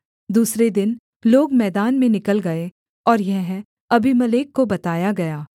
दूसरे दिन लोग मैदान में निकल गए और यह अबीमेलेक को बताया गया